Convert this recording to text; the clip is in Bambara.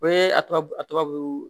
O ye a tubabu a tɔgɔ